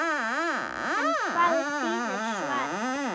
En hvað þýðir svarið?